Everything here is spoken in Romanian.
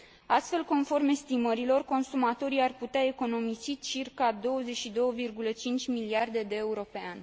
Astfel, conform estimărilor, consumatorii ar putea economisi circa 22,5 miliarde de euro pe an.